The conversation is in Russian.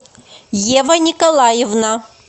ева николаевна